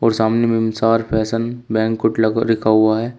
और सामने में मेमसार फैशन बैंकुट लिखा हुआ है।